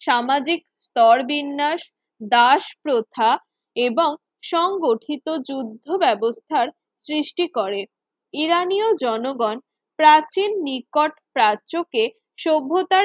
সামাজিক স্তরবিন্যাস দাস প্রথা এবং সংগঠিত যুদ্ধ ব্যবস্থার সৃষ্টি করে ইরানীয় জনগণ প্রাচীন নিকট প্রাচ্যকে সভ্যতার